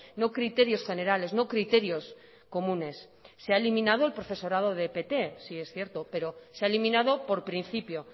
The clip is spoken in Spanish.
no criterios generales no criterios comunes se ha eliminado el profesorado de pt sí es cierto pero se ha eliminado por principio